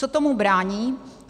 Co tomu brání?